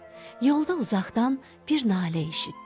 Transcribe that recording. Yolda uzaqdan bir nalə eşitdi.